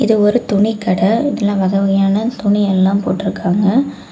இது ஒரு துணிக்கட இதுல வக வகையான துணி எல்லா போட்டுருக்காங்க.